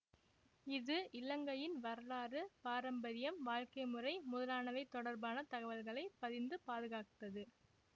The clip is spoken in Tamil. இது இலங்கையின் வரலாறு பாரம்பரியம் வாழ்க்கை முறை முதலானவை தொடர்பான தகவல்களை பதிந்து பாதுகாத்தது